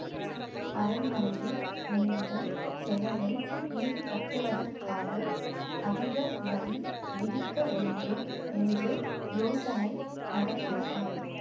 அரண்மனையில் நேர்ந்த செலவை ஈடுகட்டுவதற்காக அதிக வரி விதிக்க வேண்டும் என்று யோசனை நடக்கிறதாம்